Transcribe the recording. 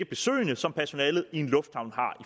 besøgende som personalet i en lufthavn har